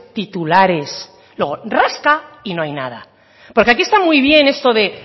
titulares luego rasca y no hay nada porque aquí está muy bien eso de